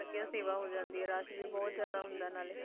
ਵਧੀਆ ਸੇਵਾ ਹੋ ਜਾਂਦੀ ਹੈ rush ਵੀ ਬਹੁਤ ਜ਼ਿਆਦਾ ਹੁੰਦਾ ਨਾਲੇ।